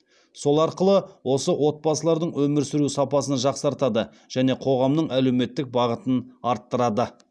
сол арқылы осы отбасылардың өмір сүру сапасын жақсартады және қоғамның әлеуметтік бағытын арттырады